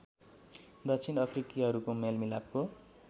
दक्षिण अफ्रिकीहरुको मेलमिलापको